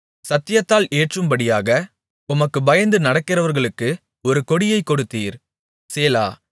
சத்தியத்தினால் ஏற்றும்படியாக உமக்குப் பயந்து நடக்கிறவர்களுக்கு ஒரு கொடியைக் கொடுத்தீர் சேலா